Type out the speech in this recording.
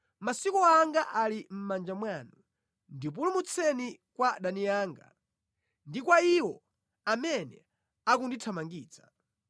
Masiku anga ali mʼmanja mwanu; ndipulumutseni kwa adani anga ndi kwa iwo amene akundithamangitsa.